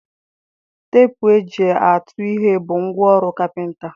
Teepụ e ji atụ ihe bụ ngwa ọrụ kapịnta.